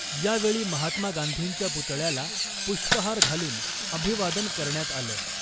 यावेळी महात्मा गांधींच्या पुतळ्याला पुष्पहार घालून अभिवादन करण्यात आलं .